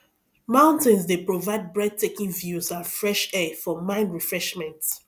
mountains dey provide breathtaking views and fresh air for mind refreshment